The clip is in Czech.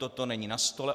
Toto není na stole.